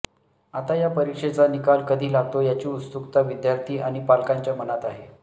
आता या परीक्षेचा निकाल कधी लागतो याची उत्सुकता विद्यार्थी आणि पालकांच्या मनात आहे